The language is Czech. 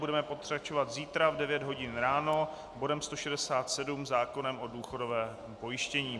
Budeme pokračovat zítra v 9 hodin ráno bodem 167, zákonem o důchodovém pojištění.